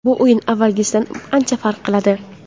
Bu o‘yin avvalgisidan ancha farq qiladi.